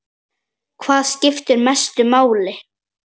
Hvað skiptir mestu máli?